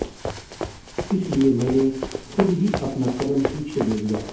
इसीलिए मैंने खुद ही अपना कदम पीछे ले लिया